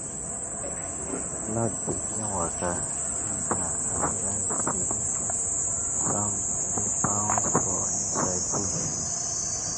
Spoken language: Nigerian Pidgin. cloud begin waka enter as rain spirit song dey bounce for inside bush.